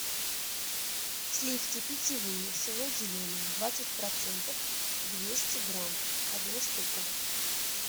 сливки питьевые село зеленое двадцать процентов двести грамм одна штука